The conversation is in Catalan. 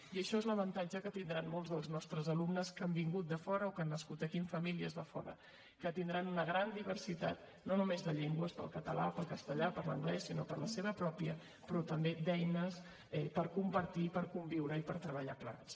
i això és l’avantatge que tindran molts dels nostres alumnes que han vingut de fora o que han nascut aquí en famílies de fora tindran una gran diversitat no només de llengües pel català pel castellà per l’anglès o per la seva pròpia sinó també d’eines per compartir per conviure i per treballar plegats